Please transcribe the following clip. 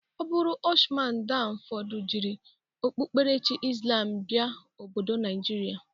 Ọ bụrụ Ụsman dan fodo jiri okpukperechi islam bịa obodo Naijịrịa.